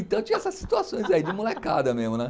Então tinha essas situações aí, de molecada mesmo, né?